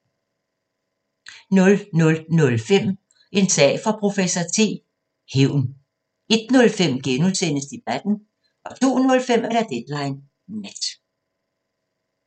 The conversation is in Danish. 00:05: En sag for professor T: Hævn 01:05: Debatten * 02:05: Deadline Nat